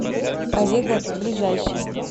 авега ближайший